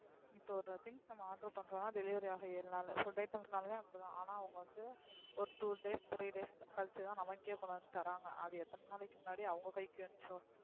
இப்ப ஒரு things நம்ம order பன்றோன delivery ஆக ஏழு நாள் food items நாளுமே அப்டிதான்அனா two days three days கழிச்சு தான் நமக்கே கொண்டு வந்து தராங்க அது எத்தன நாளைக்கு முண்ணாடி அவுங்க கைக்கு சேந்துச்சோ.